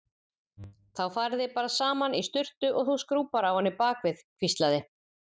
Þá farið þið bara saman í sturtu og þú skrúbbar á henni bakið hvíslaði